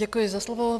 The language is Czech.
Děkuji za slovo.